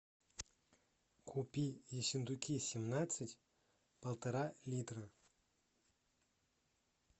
купи ессентуки семнадцать полтора литра